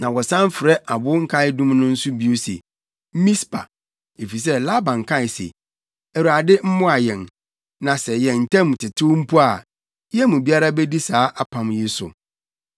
Na wɔsan frɛ abo nkaedum no nso bio sɛ, “Mispa” efisɛ Laban kae se, “ Awurade mmoa yɛn, na sɛ yɛn ntam tetew mpo a, yɛn mu biara bedi saa apam yi so.